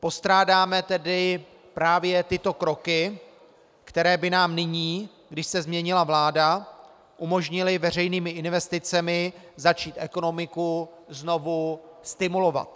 Postrádáme tedy právě tyto kroky, které by nám nyní, když se změnila vláda, umožnily veřejnými investicemi začít ekonomiku znovu stimulovat.